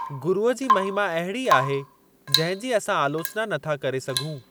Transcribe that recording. गुरूअ जी महिमा अहिड़ी आहे जंहिं जी असां आलोचना नथा करे सघूं।